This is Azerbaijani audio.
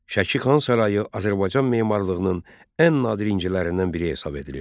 Şəki xan sarayı Azərbaycan memarlığının ən nadir incilərindən biri hesab edilir.